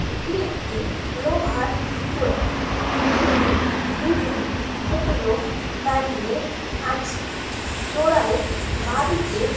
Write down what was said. এটি একটি লোহার চূড়া ।চূড়াই দুজন ভদ্রলোক দাঁড়িয়ে আছে চোরাইয়ের বাঁদিকে--